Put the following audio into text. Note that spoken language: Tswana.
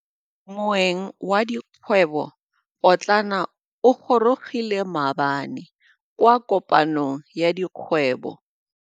Moêng wa dikgwêbô pôtlana o gorogile maabane kwa kopanong ya dikgwêbô.